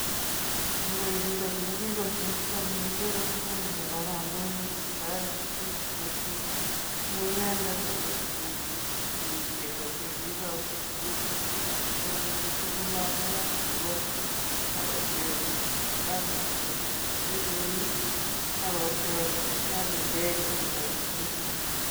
Kandoindet ne kigosirto ne kiguure Daniel Arap Moi ko kitoret biik mising, amun inendet kogimi chego che kiigochi sugulishek asi kobit koluu lagokab sugul, agotech sipitalishek che eechen, agotech kapindege ole biik